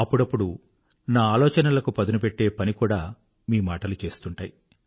అప్పుడప్పుడూ నా ఆలోచనలకు పదునుపెట్టే పని కూడా మీ మాటలు చేస్తుంటాయి